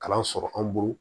Kalan sɔrɔ an bolo